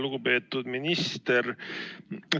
Lugupeetud minister!